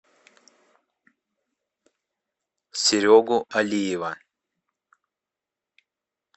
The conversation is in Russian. серегу алиева